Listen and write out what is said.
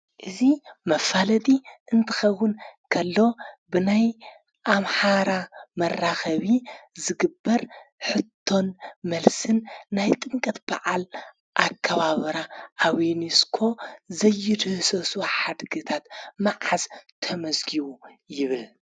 እዙ መፋለጢ እንትኸውን ከሎ ብናይ ኣምሓራ መራኸቢ ዝግበር ሕቶን መልስን ናይ ጥምቀት በዓል ኣካባበራ ኣብ ዩንስኮ ዘይድህሰሱ ሓድግታት መዓዝ ተመዝጊቡ ይብል።